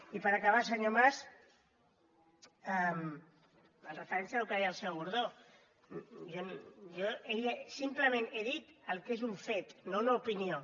i per acabar senyor mas amb referència al que deia el senyor gordó simplement he dit el que és un fet no una opinió